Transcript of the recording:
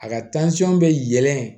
A ka bɛ yɛlɛn